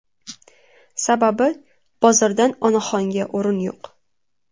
Sababi, bozordan onaxonga o‘rin yo‘q.